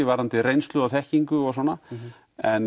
varðandi reynslu og þekkingu og svona en